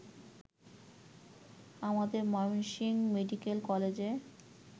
আমাদের ময়মনসিংহ মেডিক্যাল কলেজে